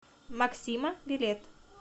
максима билет